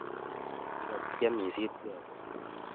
Ngotiam isit kelek